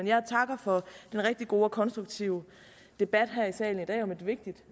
jeg takker for den rigtig gode og konstruktive debat her i salen i dag om et vigtigt